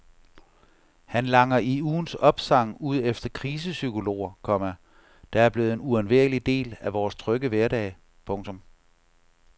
Han langer i ugens opsang ud efter krisepsykologer, komma der er blevet en uundværlig del af vores trygge hverdag. punktum